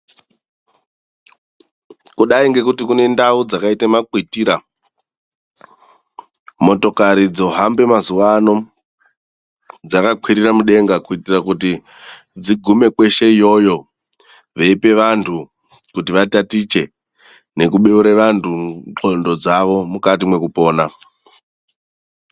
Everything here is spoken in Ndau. Kudai kwekuti kune ndau dzakaita makwitira, motokari dzohamba mazuva ano dzakakwirira mudenga kuitira dzigume kweshe iyoyo veipa vantu kuti vatatiche nekubeura vantu ndxondo dzavo mukati mwekupona.